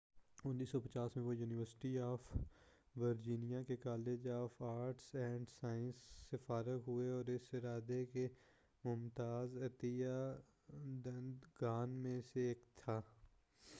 وہ 1950 میں university of Virginia کے college of arts and sciences سے فارغ ہوا اور اس ادارہ کے ممتاز عطیہ دہندگان میں سے ایک تھا